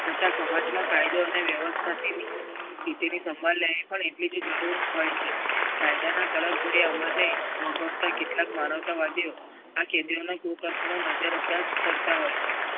નહીંતો સમાજમાં કાયદો અને વ્યવસ્થાની સ્થિતિની સંભાળ લેવી પડે એવી બી જરુંર હોય છે. કાયદાના અમલને વગોવતા કેટલાક માનવતવાદીઓ આ કેદીઓનો કુકર્મોનો નજરઅંદાજ કરતાં હોય છે.